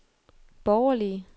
borgerlige